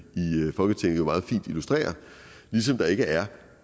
folketinget jo meget fint illustrerer ligesom der ikke er